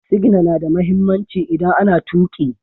Sigina na da mahimmanci idan ana tuƙi.